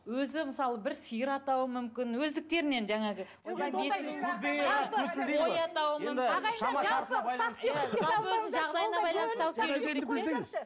өзі мысалы бір сиыр атауы мүмкін өздіктерінен жаңағы